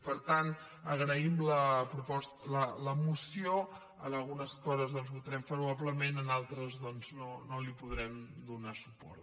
per tant agraïm la moció en algunes coses doncs hi votarem favorablement en altres no hi podrem donar suport